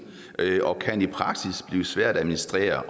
og det kan i praksis blive svært at administrere